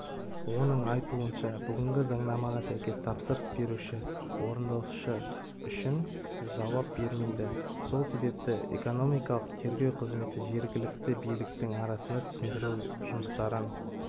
оның айтуынша бүгінгі заңнамаға сәйкес тапсырыс беруші орындаушы үшін жауап бермейді сол себепті экономикалық тергеу қызметі жергілікті биліктің арасында түсіндіру жұмыстарын